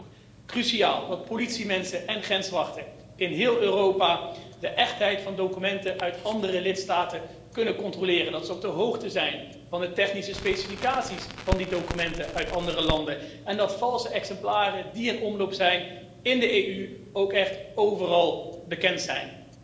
Het is dan ook cruciaal dat politiemensen en grenswachten in heel Europa de echtheid van documenten uit andere lidstaten kunnen controleren, dat ze op de hoogte zijn van de technische specificaties van die documenten uit andere landen, en dat valse exemplaren die in omloop zijn in de EU ook echt overal bekend zijn.